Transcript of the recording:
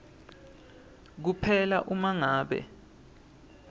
kuphela uma ngabe